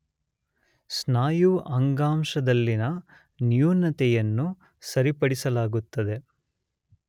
ಸ್ನಾಯು ಅಂಗಾಂಶದಲ್ಲಿನ ನ್ಯೂನತೆಯನ್ನು ಸರಿಪಡಿಸಲಾಗುತ್ತದೆ.